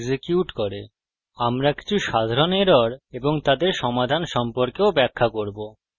কিভাবে এক্সিকিউট করে আমরা কিছু সাধারণ এরর এবং তাদের সমাধান সম্পর্কেও ব্যাখ্যা করব